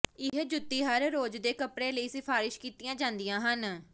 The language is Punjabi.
ਇਹ ਜੁੱਤੀ ਹਰ ਰੋਜ਼ ਦੇ ਕੱਪੜੇ ਲਈ ਸਿਫਾਰਸ਼ ਕੀਤੀਆਂ ਜਾਂਦੀਆਂ ਹਨ